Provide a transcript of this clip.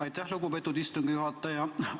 Aitäh, lugupeetud istungi juhataja!